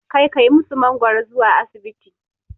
Ka kai musu mangoro zuwa asibiti.